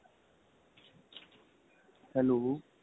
hello